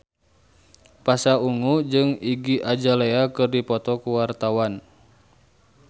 Pasha Ungu jeung Iggy Azalea keur dipoto ku wartawan